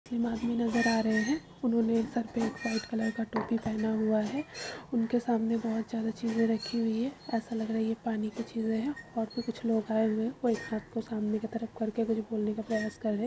आदमी नजर आ रहे हैं व्हाइट सफेद टोपी पहन रखी है। उनके सामने बहुत ज्यादा चीज रखी हुई है। ऐसा लग रहा है यह पानी की चीज हैं और भी कुछ लोग आए हुए हैं सामने की तरफ करके कुछ बोलने का प्रयास कर रहे है।